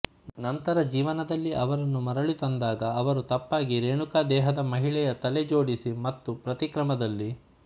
ನಂತರ ಜೀವನದಲ್ಲಿ ಅವರನ್ನು ಮರಳಿ ತಂದಾಗ ಅವರು ತಪ್ಪಾಗಿ ರೇಣುಕಾ ದೇಹದ ಮಹಿಳೆಯ ತಲೆ ಜೋಡಿಸಿ ಮತ್ತು ಪ್ರತಿಕ್ರಮದಲ್ಲಿ